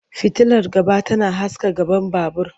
Fitilar gaba tana haska gaban babur.